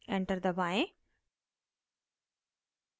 enter दबाएं